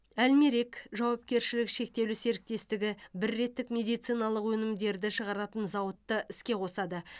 әлмерек жауапкершілігі шектеулі серіктестігі біреттік медициналық өнімдерді шығаратын зауытты іске қосады